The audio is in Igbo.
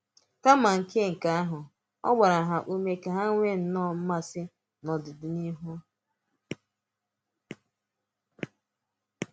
Kàmá nke nke ahụ̄, ọ́ gbàrà ha ụ́mè̄ ka ha nweè nnọọ̀ mmasị̀ n’ọdị́nihū.